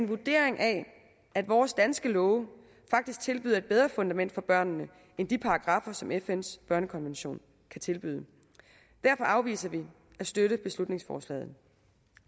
vurdering at vores danske love faktisk tilbyder et bedre fundament for børnene end de paragraffer som fns børnekonvention kan tilbyde derfor afviser vi at støtte beslutningsforslaget